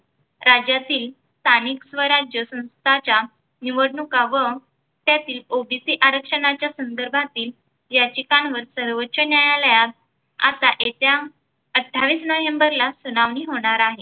राज्यांतील स्थानिक स्वराज्य संस्थांच्या निवडणुका व त्यातील OBC आरक्षणाच्या संदर्भातील याचिका सर्वोच्च न्यायालयात आता येत्या अठ्ठावीस नवंबर सुनावणी होणार आहे.